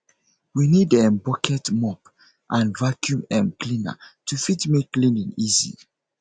we need um bucket mop and vaccum um cleaner to fit make cleaning easy